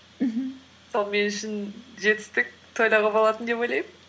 мхм сол мен үшін жетістік тойлауға болатын деп ойлаймын